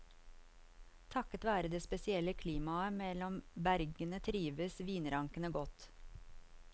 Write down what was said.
Takket være det spesielle klimaet mellom bergene trives vinrankene godt.